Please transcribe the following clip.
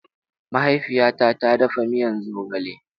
Mahaifiyata ta dafa miya zogale.